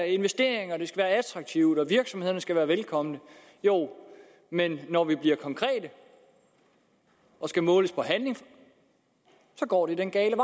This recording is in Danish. investeringer og det skal være attraktivt og virksomhederne skal være velkomne men når vi bliver konkrete og skal måles på handling går det den gale